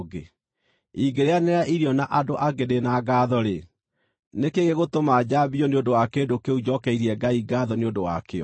Ingĩrĩanĩra irio na andũ angĩ ndĩ na ngaatho-rĩ, nĩ kĩĩ gĩgũtũma njambio nĩ ũndũ wa kĩndũ kĩu njokeirie Ngai ngaatho nĩ ũndũ wakĩo?